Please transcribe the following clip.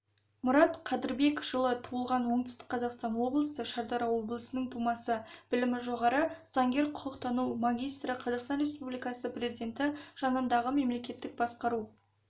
мұрат қадырбек жылы туылған оңтүстік қазақстан облысы шардара ауданының тумасы білімі жоғары заңгер құқықтану магистрі қазақстан республикасы президенті жанындағы мемлекеттік басқару